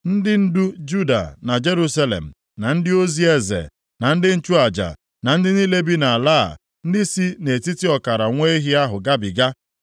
Ndị ndu Juda na Jerusalem na ndị ozi eze na ndị nchụaja na ndị niile bi nʼala a ndị si nʼetiti ọkara nwa ehi ahụ gabiga